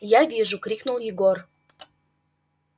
я вижу крикнул егор